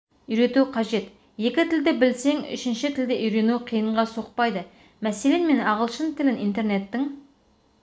үйрету қажет екі тілді білсең үшінші тілді үйрену қиынға соқпайды мәселен мен ағылшын тілін интернеттің